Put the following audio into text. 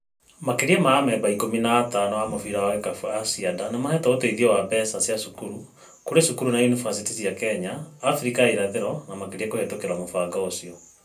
Makĩria ma amemba ikũmi na atano a mũbĩra wa gĩkabũ a Cianda nĩmahetwo ũteithio wa mbeca cia cukuru kũrĩ cukuru na yunibasĩtĩ cia Kenya, Afrika ya Irathĩro na makĩria kũhĩtũkira mũbang'o ũcio